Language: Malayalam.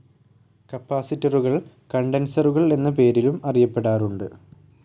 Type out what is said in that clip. കപ്പാസിറ്ററുകൾ കണ്ടൻസറുകൾ എന്ന പേരിലും അറിയപ്പെടാറുണ്ട്.